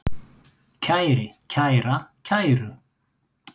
kæri, kæra, kæru